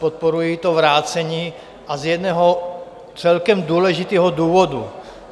Podporuji to vrácení a z jednoho celkem důležitého důvodu.